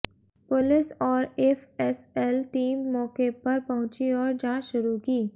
police और FSL team मौके पर पहुंची और जांच शुरू की